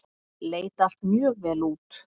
Leit allt mjög vel út.